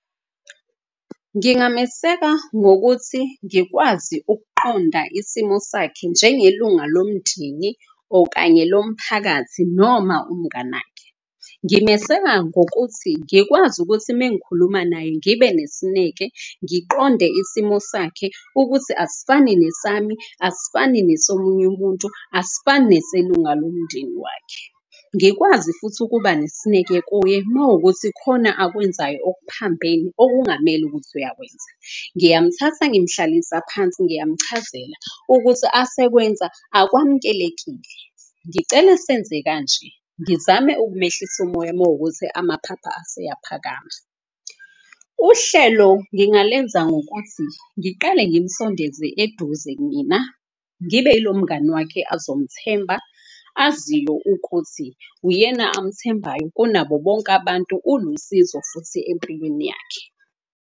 Ngingameseka ngokuthi ngikwazi ukuqonda isimo sakhe njengelunga lomndeni. Okanye lomphakathi noma umnganakhe. Ngimeseka ngokuthi ngikwazi ukuthi mengikhuluma naye, ngibe nesineke, ngiqonde isimo sakhe ukuthi asifani nesami. Asifani nesomunye umuntu asifani, neselunga lomndeni wakhe. Ngikwazi futhi ukuba nesineke kuye mawukuthi khona akwenzayo okuphambene okungamele ukuthi uyakwenza. Ngiyamthatha ngimhlalisa phansi ngiyamchazela ukuthi asekwenza akwamukelekile. Ngicele senze kanje, ngizame ukumehlisa umoya mawukuthi amaphapha aseyaphakama. Uhlelo ngingalenza ngokuthi ngiqale ngimsondeze eduze mina. Ngibe ilo mngani wakhe azomthemba, aziyo ukuthi uyena amthembayo kunabo bonke abantu. Ulusizo futhi empilweni yakhe.